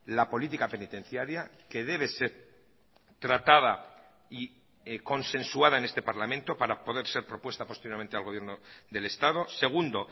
la política penitenciaria que debe ser tratada y consensuada en este parlamento para poder ser propuesta posteriormente al gobierno del estado segundo